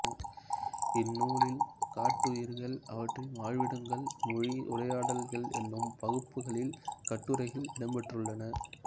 இந்நூலில் காட்டுயிர்கள் அவற்றின் வாழ்விடங்கள் மொழி உரையாடல்கள் என்னும் பகுப்புகளில் கட்டுரைகள் இடம்பெற்றுள்ளன